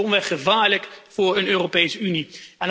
Het is domweg gevaarlijk voor een Europese Unie.